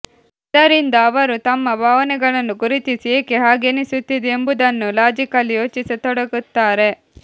ಇದರಿಂದ ಅವರು ತಮ್ಮ ಭಾವನೆಗಳನ್ನು ಗುರುತಿಸಿ ಏಕೆ ಹಾಗೆನಿಸುತ್ತಿದೆ ಎಂಬುದನ್ನು ಲಾಜಿಕಲಿ ಯೋಚಿಸತೊಡಗುತ್ತಾರೆ